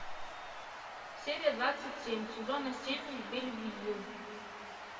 серия двадцать семь сезона семь бельвью